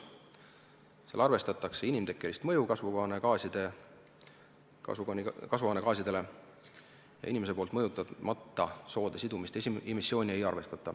Selle korral arvestatakse inimtekkelist mõju kasvuhoonegaasidele ning ei arvestata inimese poolt mõjutamata soode sidumist ja emissiooni.